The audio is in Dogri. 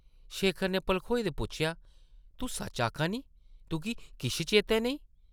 शेखर नै भलखोए दे पुच्छेआ, ‘‘तूं सच्च आखा नीं, तुगी किश चेतै नेईं ?’’